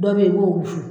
Dɔ bɛ ye i b'o wusu